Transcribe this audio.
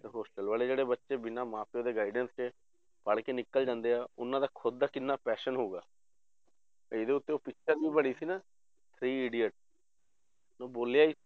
ਤੇ hostel ਵਾਲੇ ਜਿਹੜੇ ਬੱਚੇ ਬਿਨਾਂ ਮਾਂ ਪਿਓ ਦੇ guidance ਦੇ ਪੜ੍ਹ ਕੇ ਨਿਕਲ ਜਾਂਦੇ ਆ ਉਹਨਾਂ ਦਾ ਖੁੱਦ ਦਾ ਕਿੰਨਾ passion ਹੋਊਗਾ ਇਹਦੇ ਉੱਤੇ ਉਹ picture ਵੀ ਬਣੀ ਸੀ ਨਾ three idiot ਉਹ ਬੋਲਿਆ ਸੀ